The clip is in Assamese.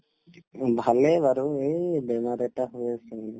উম, ভালে বাৰু এই বেমাৰ এটা হৈ আছিলে